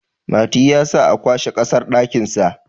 Mati ya sa a kwashe kasar dakinsa